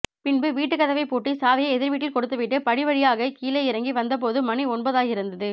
பின்பு வீட்டுக்கதவை பூட்டி சாவியை எதிர்வீட்டில் கொடுத்துவிட்டு படி வழியாகக் கிழே இறங்கி வந்த போது மணி ஒன்பதாகியிருந்தது